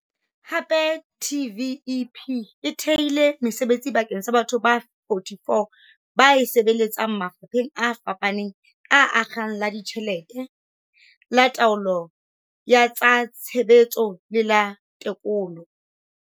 Hape TVEP e thehile mesebetsi bakeng sa batho ba 44 ba e sebeletsang mafapheng a fapaneng a akgang la ditjhelete, la taolo ya tsa tshebetso le la tekolo.